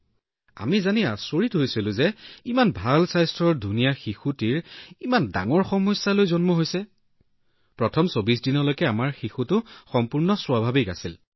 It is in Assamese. গতিকে আমি আচৰিত হৈছিলো যে শিশুটো স্বাস্থ্যৱান আছিল ইমান ধুনীয়া আৰু তথাপিও ইমান ডাঙৰ সমস্যাৰ সৈতে জন্ম হৈছে সেয়েহে প্ৰথম ২৪ দিনৰ বাবে শিশুটো সম্পূৰ্ণ স্বাভাৱিক আছিল